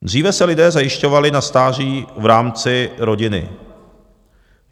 Dříve se lidé zajišťovali na stáří v rámci rodiny.